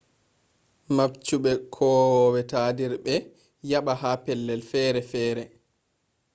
mabchube kowowe tadirbe yaba ha pellel fere fere